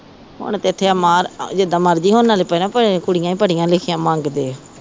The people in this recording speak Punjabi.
ਹੁਣ ਜਿਦਾ ਮਰਜ਼ੀ ਹੁਣ ਨਾਲੇ ਭੈਣਾਂ ਕੁੜੀਆਂ ਈ ਪੜ੍ਹੀਆਂ ਲਿਖੀਆਂ ਮੰਗਦੇ ਆ